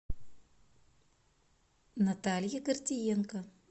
наталье гордиенко